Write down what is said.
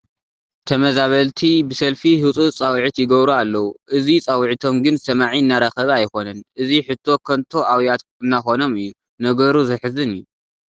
ተመዛበልቲ ብሰልፊ ህፁፅ ፃውዒት ይገብሩ ኣለዉ፡፡ እዚ ፃውዒቶም ግን ሰማዒ እናረኸበ ኣይኮነን፡፡ እዚ ሕቶ ከንቶ ኣውያት እናኾኖም እዩ፡፡ ነገሩ ዘሕዝን እዩ፡፡